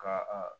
Ka a